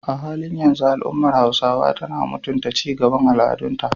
A halin yanzu, al’ummar Hausawa suna mutunta ci gaban al’adunta